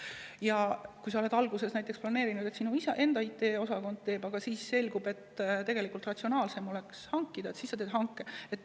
Ja kui sa oled alguses näiteks planeerinud, et teie enda IT-osakond teeb, aga siis selgub, et ratsionaalsem oleks see teenus hankida, siis sa teed hanke.